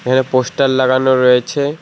এখানে পোস্টার লাগানো রয়েছে।